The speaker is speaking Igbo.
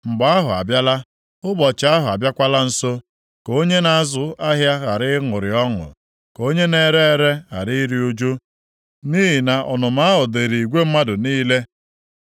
Mgbe ahụ abịala! Ụbọchị ahụ abịakwala nso. Ka onye na-azụ ahịa ghara ịṅụrị ọṅụ ka onye na-ere ere ghara iru ụjụ, nʼihi na ọnụma ahụ dịrị igwe mmadụ niile.